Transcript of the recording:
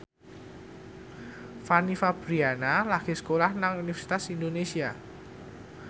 Fanny Fabriana lagi sekolah nang Universitas Indonesia